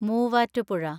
Muvattupuzha